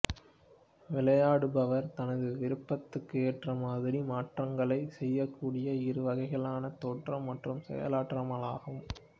விளையாடுபவர் தனது விருப்பத்துக்கு ஏற்றமாதிரி மாற்றங்களை செய்யக்கூடிய இரு வகைகளாவன தோற்றம் மற்றும் செயலாற்றலாகும்